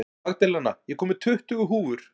Magdalena, ég kom með tuttugu húfur!